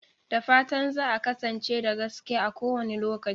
Da fatan za a kasance da gaskiya a kowane lokaci.